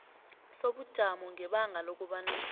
sobujamo ngebanga lokobana